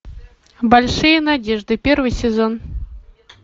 большие надежды первый сезон